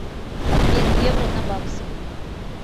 обмен евро на баксы